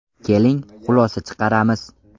Keling, xulosa chiqaramiz.